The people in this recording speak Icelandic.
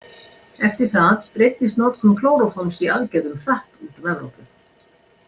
Eftir það breiddist notkun klóróforms í aðgerðum hratt út um Evrópu.